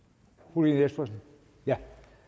fru lene espersen ja